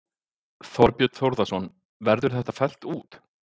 Þorbjörn Þórðarson: Verður þetta fellt út?